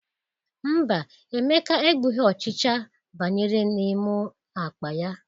Mba, Emeka egbughi ọchịcha banyere n'ime akpa ya.